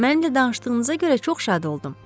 Mənlə danışdığınıza görə çox şad oldum.